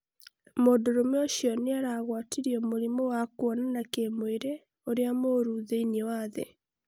mũndũrume ũcio nĩaragwatirio mũrimũ wa kuonana kĩmwĩrĩ uria mũru thĩinĩ wa thĩ